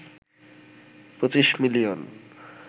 ২৫ million